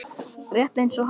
Rétt eins og hann.